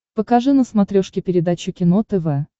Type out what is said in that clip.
покажи на смотрешке передачу кино тв